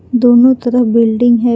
दोनों तरफ बिल्डिंग है।